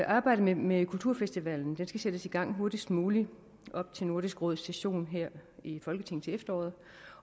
arbejdet med kulturfestivalen skal sættes i gang hurtigst muligt op til nordisk råds session her i folketinget til efteråret